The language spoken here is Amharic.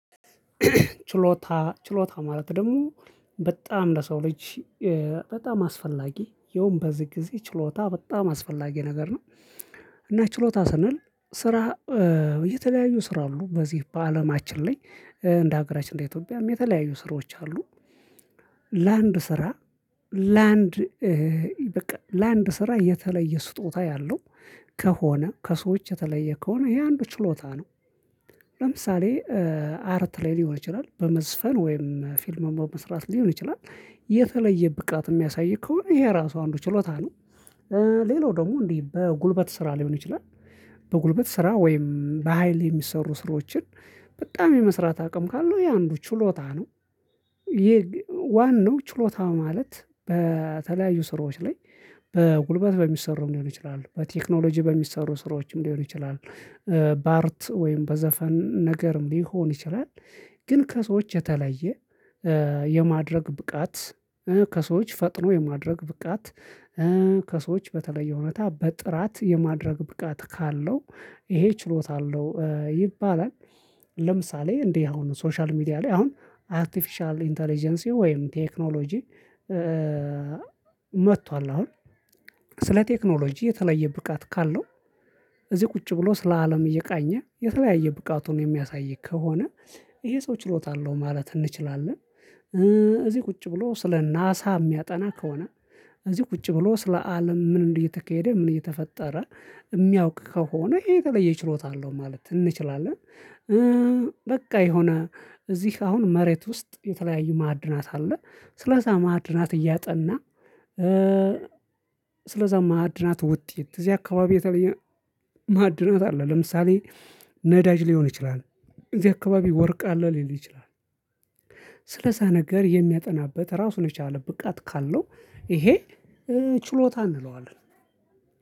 ችሎታ ችሎታ ማለት ደግሞ በጣም ለሰው ልጅ በጣም አስፈላጊ ያውም በዚህ ጊዜ ችሎታ በጣም አስፈላጊ ነገር ነው። እና ችሎታ ስንል ስራ የተለያዩ ስራ አሉ በዚህ በአለማችን ላይ እንደ ሀገራችን እንደ ኢትዮጵያም የተለያዩ ስራዎች አሉ። ለአንድ ስራ ለአንድ በቃ ለአንድ ስራ የተለየ ስጦታ ያለው ከሆነ ከሰዎች የተለየ ከሆነ ይሄ አንዱ ችሎታ ነው። ለምሳሌ አርት ላይ ሊሆን ይችላል በመዝፈን ወይም ፊልም በመስራት ሊሆን ይችላል። የተለየ ብቃት የሚያሳይ ከሆነ ይሄ ራሱ አንዱ ችሎታ ነው። ሌላው ደግሞ እንዲህ በጉልበት ስራ ሊሆን ይችላል። በጉልበት ስራ ወይም በሃይል የሚሰሩ ስራዎችን በጣም የመስራት አቅም ካለው ይሄ አንዱ ችሎታ ነው። ዋናው ችሎታ ማለት በተለያዩ ስራዎች ላይ በጉልበት በሚሰሩ ሊሆን ይችላሉ በቴክኖሎጂ በሚሰሩ ስራዎችም ሊሆን ይችላል። በአርት ወይም በዘፈን ነገርም ሊሆን ይችላል። ግን ከሰዎች የተለየ የማድረግ ብቃት ከሰዎች ፈጥኖ የማድረግ ብቃት ከሰዎች በተለየ እውነታ በጥራት የማድረግ ብቃት ካለው ይሄ ችሎታ አለው ይባላል። ለምሳሌ እንዲህ አሁን ሶሻል ሚዲያ ላይ አሁን አርቲፊሻል ኢንተለጀንሲ ወይም ቴክኖሎጂ። መጥቷል አሁን ስለ ቴክኖሎጂ የተለየ ብቃት ካለው እዚህ ቁጭ ብሎ ስለ አለም እየቃኘ የተለያየ ብቃቱን የሚያሳይ ከሆነ ይሄ ሰው ችሎታ አለው ማለት እንችላለን። እዚህ ቁጭ ብሎ ስለ ናሳ የሚያጠና ከሆነ እዚህ ቁጭ ብሎ ስለ አለም ምን እንደተካሄደ ምን እየተፈጠረ ሚያውቅ ከሆነ የተለየ ችሎታ አለው ማለት እንችላለን። በቃ የሆነ እዚህ አሁን መሬት ውስጥ የተለያዩ ማዕድናት አለ። ስለዚያ ማዕድናት እያጠና ስለዚያ ማዕድናት ውጤት እዚህ አካባቢ የተለየ ማዕድናት አለ ለምሳሌ ነዳጅ ሊሆን ይችላል። እዚህ አካባቢ ወርቅ አለ ሊል ይችላል። ስለዛ ነገር የሚያጠናበት ራሱን የቻለ ብቃት ካለው ይሄ ችሎታ እንለዋለን።